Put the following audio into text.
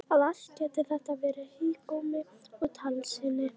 Að allt gæti þetta verið hégómi og tálsýn!